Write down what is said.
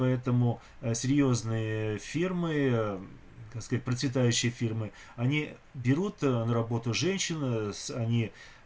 поэтому а серьёзные фирмы так сказать процветающей фирмы они берут на работу женщин с они